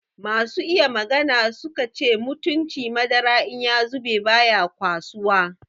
Masu iya magana su ka ce mutunci madara in ya zube baya kwasuwa.